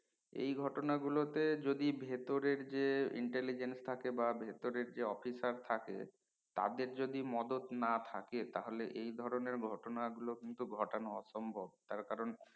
এই ঘটনা গুলো তে যদি ভেতরের যে intelligent থাকে বা ভেতরের যে officer থাকে তাদের যদি মদত না থাকে তা হলে এই ধরনের ঘটনা গুলো কিন্তু ঘটান অসম্ভব তার কারন